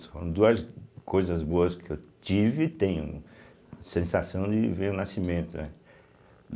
Foram duas coisas boas que eu tive e tenho sensação de ver o nascimento, né?